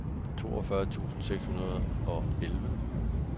otteogfyrre tusind seks hundrede og elleve